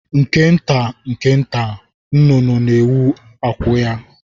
Nke nta nke nta, nnụnụ na-ewu akwụ ya.